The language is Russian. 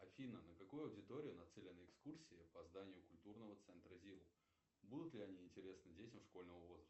афина на какую аудиторию нацелены экскурсии по зданию культурного центра зил будут ли они интересны детям школьного возраста